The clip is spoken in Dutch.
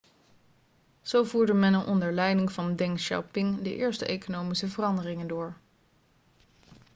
zo voerde men onder leiding van deng xiaoping de eerste economische veranderingen door